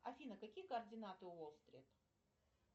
афина какие координаты у уолл стрит